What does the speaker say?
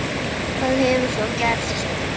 Hvað hefur svo gerst?